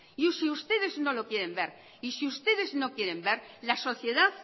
y si ustedes no lo quieren ver y si ustedes no quieren ver la sociedad